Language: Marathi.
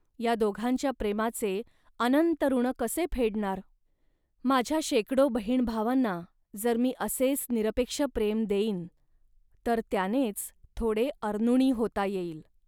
या दोघांच्या प्रेमाचे अनंत ऋण कसे फेडणार. माझ्या शेकडो बहीणभावांना जर मी असेच निरपेक्ष प्रेम देईन, तर त्यानेच थोडे अनृणी होता येईल